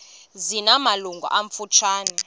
zina malungu amafutshane